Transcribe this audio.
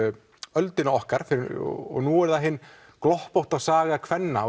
öldina okkar fyrir og nú er það hin gloppótta saga kvenna